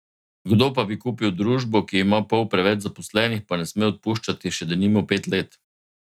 Kdo pa bi kupil družbo, ki ima pol preveč zaposlenih, pa ne sme odpuščati še denimo pet let?